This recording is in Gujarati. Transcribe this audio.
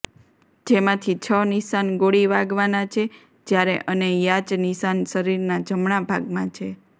જેમાંથી છ નિશાન ગોળી વાગવાના છે જ્યારે અને યાચ નિશાન શરીરના જમણા ભાગમાં છે